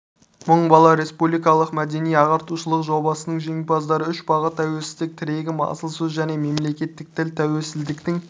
мың бала республикалық мәдени-ағартушылық жобасының жеңімпаздары үш бағыт тәуелсіздік тірегім асыл сөз және мемлекеттік тіл тәуелсіздіктің